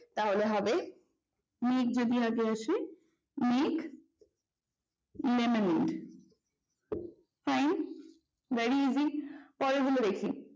তাহলে হবে make যদি আগে আসে তাহলে হবে make monument fine very easy পরের গুলো দেখি